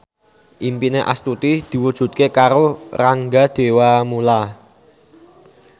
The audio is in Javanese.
impine Astuti diwujudke karo Rangga Dewamoela